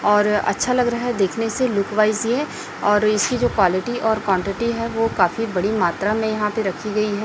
और अच्छा लग रहा है देखने से लुक वाइज ये और इसकी जो क्वालिटी और क्वांटिटी है वो काफी बड़ी मात्रा में यहां पर रखी गई है।